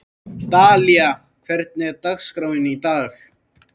Dalía, hvernig er dagskráin í dag?